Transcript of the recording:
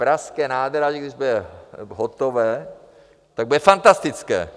Pražské nádraží, když bude hotové, tak bude fantastické!